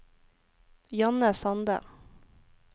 Janne Sande